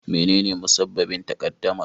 Menene musabbabin takaddamar?